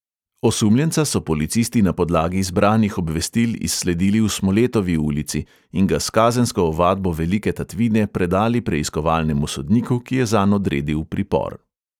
Osumljenca so policisti na podlagi zbranih obvestil izsledili v smoletovi ulici in ga s kazensko ovadbo velike tatvine predali preiskovalnemu sodniku, ki je zanj odredil pripor.